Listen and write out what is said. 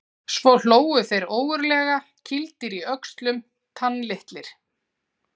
Svo hlógu þeir ógurlega, kýldir í öxlum, tannlitlir.